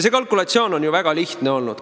See kalkulatsioon on ju väga lihtne olnud.